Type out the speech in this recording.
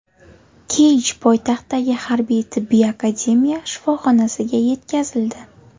Keyj poytaxtdagi Harbiy-tibbiy akademiya shifoxonasiga yetkazildi.